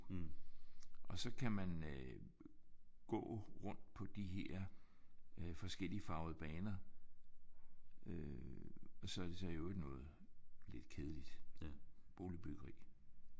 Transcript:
Og så kan man øh gå rundt på de her øh forskelligfarvede baner øh og så er det så i øvrigt noget lidt kedeligt boligbyggeri